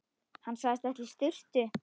Hann sagðist ætla í sturtu.